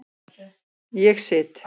Ég sit.